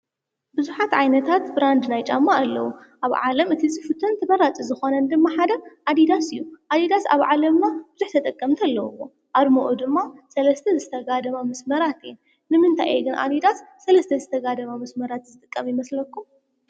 ብዙሓት ዓይነታት ብራንድ ናይ ጫማ ኣለው ኣብ ዓለም እቲ ዝፍቶን ተመራፂ ዝኾነ ድማ ሓደ ኣዲዳስ እዩ። ኣዲዳስ ኣብ ዓለምና ብዙሕ ተጠቃሚ ኣለዎም ።ኣርምኡ ድማ ሰለስተ ዝተጋድማ መስመራት እየን ። ንምንታ እዩ ግን ኣዲዳስ ሰለስተ ዝተጋድማ መስመራት ዝጥቀም ይመስለኩም?